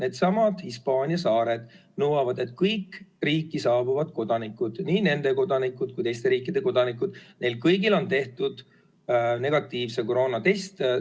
Needsamad Hispaania saared nõuavad, et kõik riiki saabuvad kodanikud, nii nende kodanikud kui teiste riikide kodanikud – kõigil on tehtud negatiivne koroonatest.